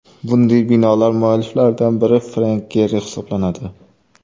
Bunday binolar mualliflaridan biri Frenk Geri hisoblanadi.